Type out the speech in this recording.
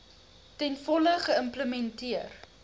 ten volle geïmplementeer